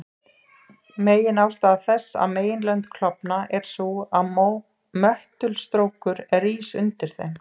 Meginástæða þess að meginlönd klofna er sú að möttulstrókur rís undir þeim.